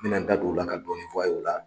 Me na n da don o la ka dɔɔni fɔ a ye o la.